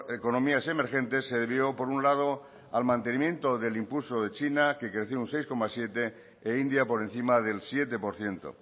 economías emergentes se debió por un lado al mantenimiento del impulso de china que creció un seis coma siete e india por encima del siete por ciento